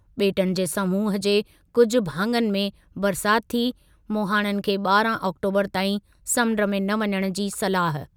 ॿेटनि जे समूहु जे कुझु भाङनि में बरसाति थी, मुहाणनि खे ॿारह आक़्टोबरु ताईं समुंड में न वञणु जी सलाह।